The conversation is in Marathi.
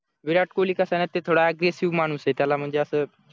विराट कोहली कसा ना ते थोडा अग्रेसिव्ह माणूस ए त्याला म्हणजे असं